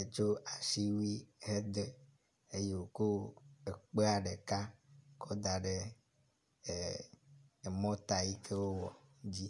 Etso asiwui hedo eye woko ekpea ɖeka kɔ da ɖe mɔta yike wo wɔ dzi.